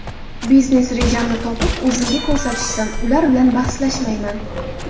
Biznes rejamni topib, o‘zimga ko‘rsatishsin, ular bilan bahslashmayman.